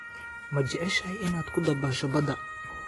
Ma jeceshahay inaad ku dabaasho badda?